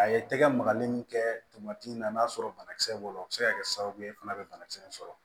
A ye tɛgɛ magali min kɛ n'a sɔrɔ banakisɛ b'o la o bɛ se ka kɛ sababu ye fana bɛ banakisɛ in sɔrɔ